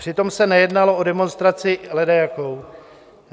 Přitom se nejednalo o demonstraci ledajakou.